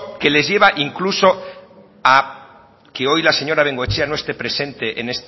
que les lleva incluso a que hoy la señora bengoechea no esté presente